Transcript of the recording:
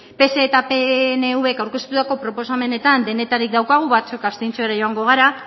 pse eta pnvk aurkeztutako proposamenetan denetarik daukagu batzuk abstentziora joango gara